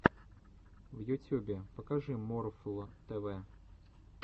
в ютюбе покажи морфл тэ вэ